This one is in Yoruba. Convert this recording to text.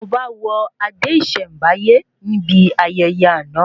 Ọba wọ adé ìsèm̀báyé níbi ayẹyẹ àna